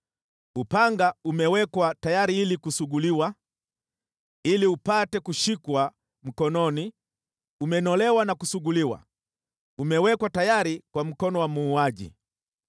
“ ‘Upanga umewekwa tayari ili kusuguliwa, ili upate kushikwa mkononi, umenolewa na kusuguliwa, umewekwa tayari kwa mkono wa muuaji.